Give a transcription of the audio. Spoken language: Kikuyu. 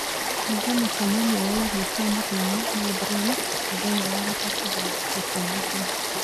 banga mũcemanio wa irio cia mũthenya na Brent mũthenya wa gatatũ thaa thita cia mũthenya